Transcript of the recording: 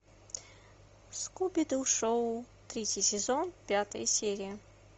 скуби ду шоу третий сезон пятая серия